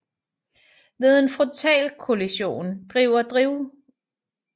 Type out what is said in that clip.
Ved en frontalkollision glider drivlinjen ind under bilens passagerkabine